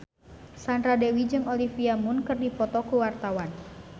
Sandra Dewi jeung Olivia Munn keur dipoto ku wartawan